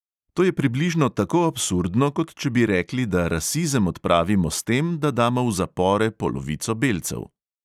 To je približno tako absurdno, kot če bi rekli, da rasizem odpravimo s tem, da damo v zapore polovico belcev.